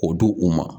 O di u ma